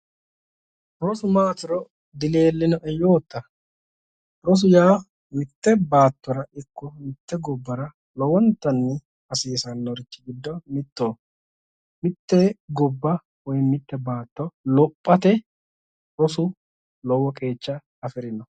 Rosu maatiro dileellinoe yootta, rosu yaa mitte baattora ikko mitte gobbara lowontanni hasiisannori giddo mittoho. mitte gobba woyibmitte baatto lophate rosu lowo qeecha afirino.